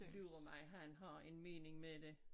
Lur mig han har en mening med det